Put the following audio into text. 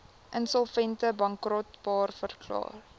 insolvent bankrot verklaar